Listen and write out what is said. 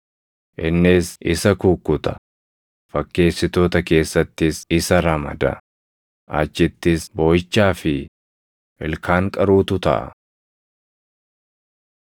Innis isa kukkuta; fakkeessitoota keessattis isa ramada; achittis booʼichaa fi ilkaan qaruutu taʼa.